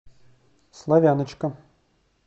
славяночка